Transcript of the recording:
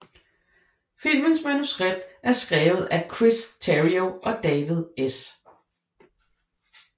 Filmens manuskript er skrevet af Chris Terrio og David S